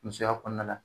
Musoya kɔnɔna la